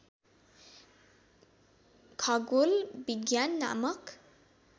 खगोल विज्ञान नामक